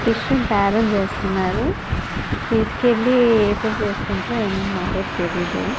Fish ను బేరం చేస్తున్నారు. తీసుకెళ్లి ఎప్పుడు చేసుకుంటారో ఏమో మరి మాకైతే తెలీదు.